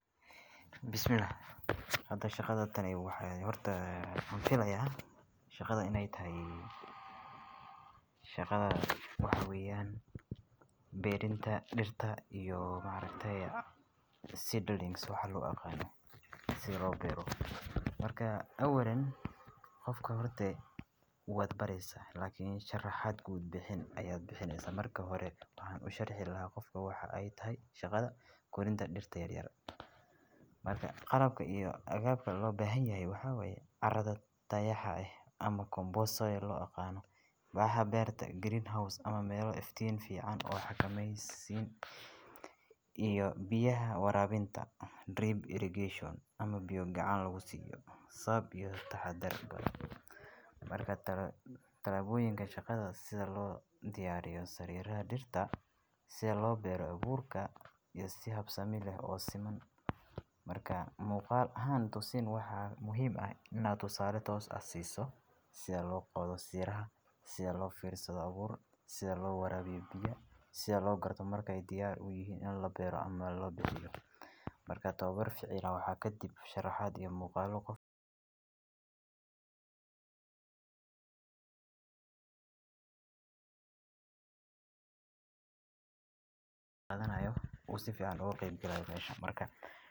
bismillah. Hadal shaqada tan iyo waxyeello waan filayaa, shaqada inay tahay... shaqada waxaa weeyaan beerinta, dhirta iyo macrahtaya. Seedlings waxaad lu aqaano si loo beero. Markaa ka warin qofka hortagii ugu wadbaraysa. Laakiin sharax aad guud bixin ayaad bixinaysaa. Marka hore waxaan u sharxi lahaa qofka waxa ay tahay shaqada korinta dhirta yar yara. Markaa qaranka iyo agagaarka loo baahan yahay waxa way caradataya xahay ama compost soil loo aqaano. Baaha beerta, greenhouse ama meelo iftiin fiican oo xakamaysiin. Iyo biyaha warabinta. Drip irrigation ama biyo gacan lagu siiyo. Sab iyo taxadar bar. Markaa talaad talaabooyinka shaqada sida loo diyaariyay sariraha, dhirta, si loo beero abuurka iyo si habsani leh oo siman. Markaa muuqaal ahaan tusin waxaa muhiim ah inaad u saarato os aheysan si loo qodo sirraha, si loo fiirsado abuur, si loo warabiyo biyo, si loo garto markay diyaar u yihiin in la beero ama la baxiyo. Markaa tababar ficilo waxaa ka dib sharaxa iyo muuqaalo qofka.